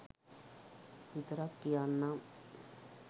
විතරක් කියන්නම්.